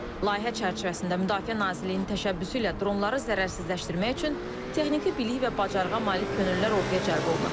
Layihə çərçivəsində Müdafiə Nazirliyinin təşəbbüsü ilə dronları zərərsizləşdirmək üçün texniki bilik və bacarığa malik könüllülər orduya cəlb olunacaq.